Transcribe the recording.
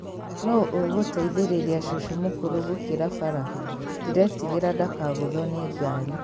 No ũgũteithĩrĩria cũcũ mũkũrũ gũkĩra bara? Ndĩrĩtigera ndakagũthũo nĩ ngari.